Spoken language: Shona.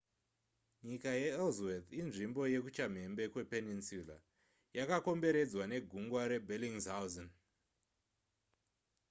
nyika yeellsworth inzvimbo yekuchamhembe kwepeninsula yakakomberedzwa negungwa rebellingshausen